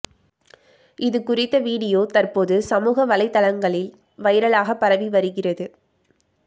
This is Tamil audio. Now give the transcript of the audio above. இது குறித்த வீடியோ தற்போது சமூக வலைதளங்களில் வைரலாக பரவி வருகிறது